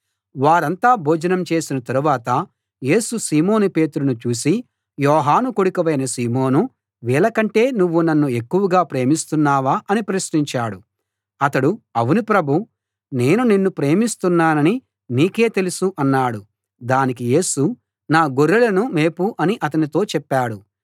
వారంతా భోజనం చేసిన తరువాత యేసు సీమోను పేతురును చూసి యోహాను కొడుకువైన సీమోనూ వీళ్ళకంటే నువ్వు నన్ను ఎక్కువగా ప్రేమిస్తున్నావా అని ప్రశ్నించాడు అతడు అవును ప్రభూ నేను నిన్ను ప్రేమిస్తున్నానని నీకే తెలుసు అన్నాడు దానికి యేసు నా గొర్రెలను మేపు అని అతనితో చెప్పాడు